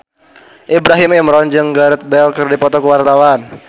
Ibrahim Imran jeung Gareth Bale keur dipoto ku wartawan